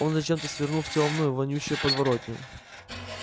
он зачем-то свернул в тёмную вонючую подворотню